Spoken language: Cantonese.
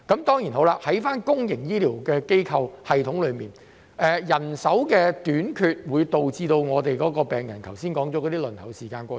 在公營醫療系統方面，人手短缺會導致剛才所說的問題，包括病人輪候時間過長。